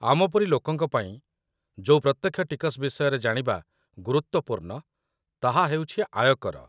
ଆମ ପରି ଲୋକଙ୍କ ପାଇଁ ଯୋଉ ପ୍ରତ୍ୟକ୍ଷ ଟିକସ ବିଷୟରେ ଜାଣିବା ଗୁରୁତ୍ୱପୂର୍ଣ୍ଣ, ତାହା ହେଉଛି ଆୟକର